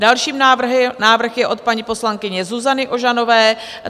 Další návrh je od paní poslankyně Zuzany Ožanové.